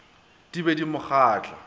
di be di mo kgahla